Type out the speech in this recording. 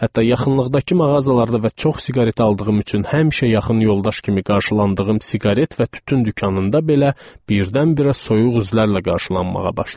Hətta yaxınlıqdakı mağazalarda və çox siqaret aldığım üçün həmişə yaxın yoldaş kimi qarşılandığım siqaret və tütün dükanında belə birdən-birə soyuq üzlərlə qarşılanmağa başladım.